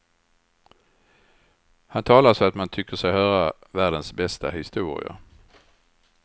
Han talar så att man tycker sig höra världens bästa historier.